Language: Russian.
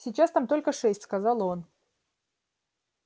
сейчас там только шесть сказал он